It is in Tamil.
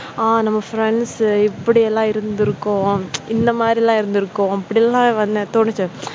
நம்ம friends இப்படியெல்லாம் இருந்து இருக்கும் இந்த மாதிரி எல்லாம் இருந்திருக்கும் அப்படி எல்லாம் வந்து தோணுச்சு.